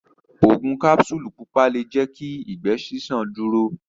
Ogun kapsulu pupa le jẹ kí ìgbé ṣiṣan dúró.